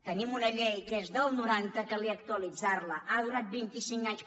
tenim una llei que és del noranta calia actualitzar·la ha du·rant vint·i·cinc anys